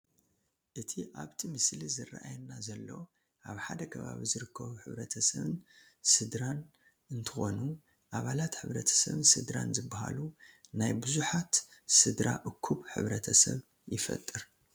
እቲ ኣብቲ ምስሊ ዝራኣየና ዘሎ ኣብ ሓደ ከባቢ ዝርከቡ ሕብረተሰብን ስድራን እንትኾኑ ኣባላት ሕ/ሰብን ስድራን ዝባሃሉ ናይ ቡዙሓት ስድራ እኩብ ሕ/ሰብ ይፈጥር፡፡